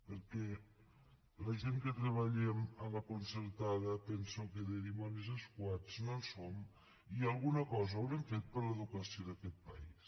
perquè la gent que treballem a la concertada penso que de dimonis escuats no en som i alguna cosa haurem fet per l’educació d’aquest país